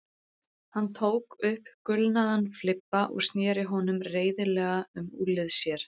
Hann tók upp gulnaðan flibba og sneri honum reiðilega um úlnlið sér.